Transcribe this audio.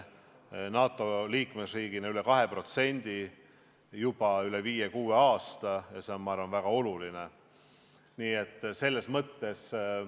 NATO liikmesriigina panustame kaitsekulutustesse juba viis-kuus aastat üle 2% ja see on minu arvates väga oluline.